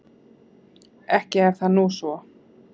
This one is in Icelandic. Ekki er það nú svo.